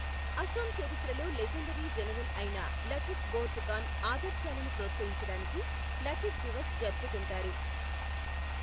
అసోం చరిత్రలో legendary general అయిన లచిత్ బోర్ఫుకాన్ ఆదర్శాలను ప్రోత్సహించడానికి లచిత్ దివస్ జరుపుకుంటారు.